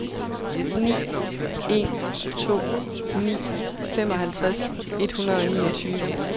ni en to ni femoghalvtreds et hundrede og niogtyve